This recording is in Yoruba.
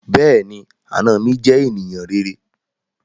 Bẹ́ẹ̀ni, àna mi jẹ́ ènìyàn rere